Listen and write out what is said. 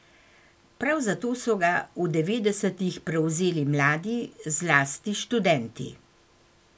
Prav zato so ga v devetdesetih prevzeli mladi, zlasti študenti.